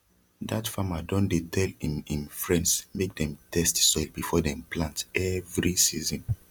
dat farmer don dey tell im im friends mak dem test soil before dem plant everi season